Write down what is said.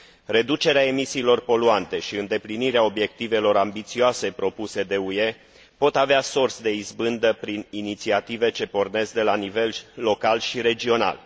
Reducerea emisiilor poluante și îndeplinirea obiectivelor ambițioase propuse de UE pot avea sorți de izbândă prin inițiative ce pornesc de la nivel local și regional.